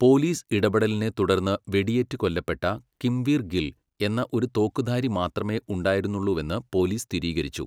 Police ഇടപെടലിനെത്തുടർന്ന് വെടിയേറ്റ് കൊല്ലപ്പെട്ട കിംവീർ ഗിൽ, എന്ന ഒരു തോക്കുധാരി മാത്രമേ ഉണ്ടായിരുന്നുള്ളൂവെന്ന് പോലീസ് സ്ഥിരീകരിച്ചു.